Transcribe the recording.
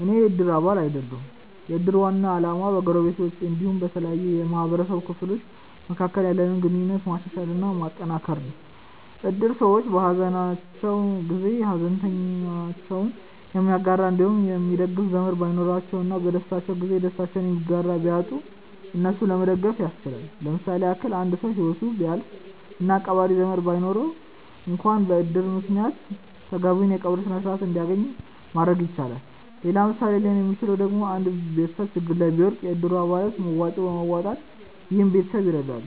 አኔ የ እድር አባል አይደለሁም። የ እድር ዋና አላማ በ ጎረቤቶች አንዲሁም በተለያዩ የ ማህበረሰቡ ክፍሎች መካከል ያለንን ግንኙነት ማሻሻል እና ማጠንከር ነው። እድር ሰዎች በ ሃዘናቸው ጊዜ ሃዘናቸውን የሚጋራ አንዲሁም የሚደግፍ ዘመድ ባይኖራቸው እና በ ደስታቸው ጊዜ ደስታቸውን የሚጋራ ቢያጡ እነሱን ለመደገፍ ያስችላል። ለምሳሌ ያክል አንድ ሰው ሂወቱ ቢያልፍ እና ቀባሪ ዘመድ ባይኖረው አንክዋን በ እድር ምክንያት ተገቢውን የ ቀብር ስርዓት አንድያገኝ ማድረግ ይቻላል። ሌላ ምሳሌ ሊሆን ሚችለው ደግሞ አንድ ቤተሰብ ችግር ላይ ቢወድቅ የ እድሩ አባላት መዋጮ በማዋጣት ይህን ቤተሰብ ይረዳሉ።